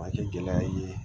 Ma kɛ gɛlɛya ye